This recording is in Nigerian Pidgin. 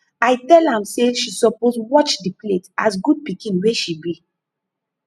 i tell am say she suppose watch the plate as good pikin wey she be